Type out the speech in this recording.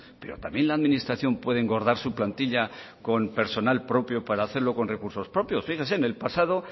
pero también la administración puede engordar su plantilla con personal propio para hacerlo con recursos propios fíjese en el pasado